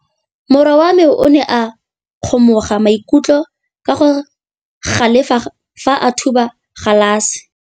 Morwa wa me o ne a kgomoga maikutlo ka go galefa fa a thuba galase.